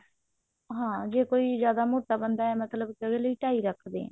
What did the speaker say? ਹਾਂ ਜੇ ਕੋਈ ਜਿਆਦਾ ਮੋਟਾ ਬੰਦਾ ਹੈ ਮਤਲਬ ਕੀ ਉਹਦੇ ਲਈ ਢਾਈ ਰੱਖਦੇ ਹਾਂ